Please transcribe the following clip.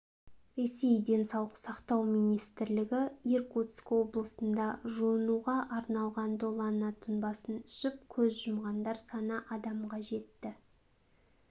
ресей денсаулық сақтау министрлігі иркутск облысында жуынуға арналған долана тұнбасын ішіп көз жұмғандар саны адамға жетті